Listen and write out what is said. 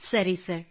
ಸರಿ sir yes sir